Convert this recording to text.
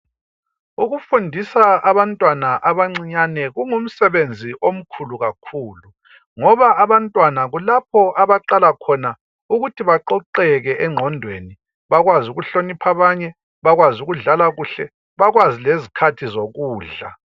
Ukufundisa abantwana abancinyane kungumsebenzi omkhulu kakhulu ngoba abantwana kulapho abaqala khona ukuthi baqoqeke engqondweni bakwazi ukuhlonipha abanye bakwazi ukudlala kuhle, bakwazi lezikhathi zokudla.